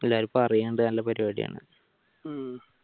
ഇപ്പൊ എല്ലാരും പറയുന് നല്ല പരിപാടിയാണ്ന്ന്